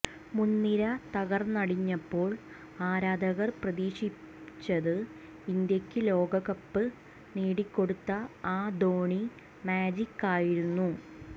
മുൻനിര തകർന്നടിഞ്ഞപ്പോൾ ആരാധകർ പ്രതീക്ഷിച്ചത് ഇന്ത്യക്ക് ലോകകപ്പ് നേടിക്കൊടുത്ത ആ ധോണി മാജിക്കായിരുന്നു